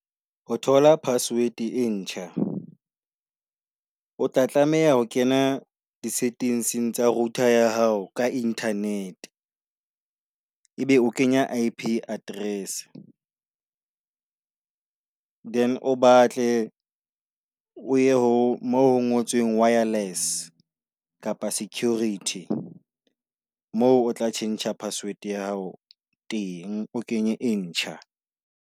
O thola password e ntjha, o tla tlameha ho kena di settings tsa router ya hao ka internet. E be o kenya I_P address, then o batle o ye ho mo ngotsweng wireless kapa security. Moo o tla tjhentjha password ya hao teng, o kenye e ntjha.